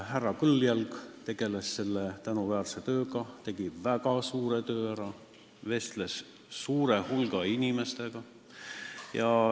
Härra Kõljalg tegeles selle tänuväärse asjaga, ta tegi väga suure töö ära, vestles suure hulga inimestega.